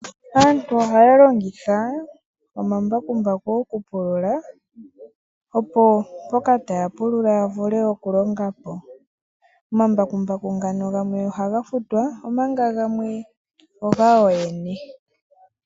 Aantu aalongitha omambakumbaku okupulula. Opo mboka taya pulula ya vule okulonga po. Omambakumbaku gamwe ohaga futwa omanga gamwe ogayo yene.